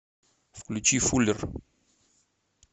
включи фуллер